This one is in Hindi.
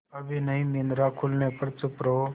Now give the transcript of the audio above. अभी नहीं निद्रा खुलने पर चुप रहो